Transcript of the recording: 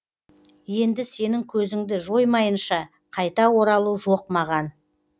енді сенің көзіңді жоймайынша қайта оралу жоқ маған